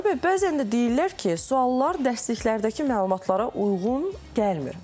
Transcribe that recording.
Xanlar bəy, bəzən də deyirlər ki, suallar dərsliklərdəki məlumatlara uyğun gəlmir.